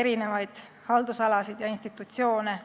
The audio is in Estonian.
erinevaid haldusalasid ja institutsioone.